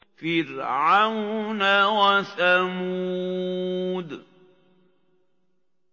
فِرْعَوْنَ وَثَمُودَ